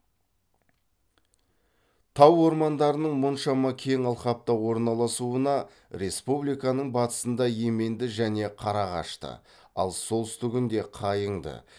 тау ормандарының мұншама кең алқапта орналасуына республиканың батысында еменді және қарағашты ал солтүстігінде қайыңды